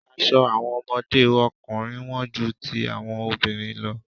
Aṣọ àwọn ọmọdé ọkùnrin wón ju ti àwọn obìnrin lọ.